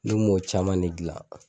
Ne m'o caman de dilan.